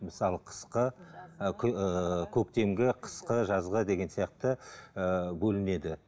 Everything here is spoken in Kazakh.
мысалы қысқы ы ыыы көктемгі қысқы жазғы деген сияқты ыыы бөлінеді